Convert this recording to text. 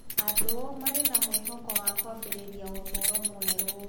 Andũ maarĩ na mwĩhoko wa kwambĩrĩria ũtũũro mwerũ.